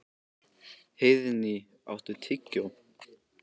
Heiðný, áttu tyggjó?